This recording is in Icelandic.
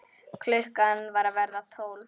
Klukkan var að verða tólf.